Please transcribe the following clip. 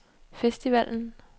festivalen